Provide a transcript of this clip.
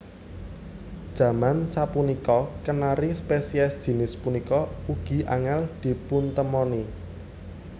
Jaman sapunika Kenari spesies jinis punika ugi angèl dipuntemoni